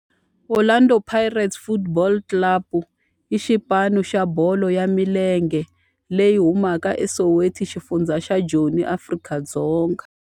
Orlando Pirates Football Club i xipano xa bolo ya milenge lexi humaka eSoweto, xifundzha xa Joni, Afrika-Dzonga.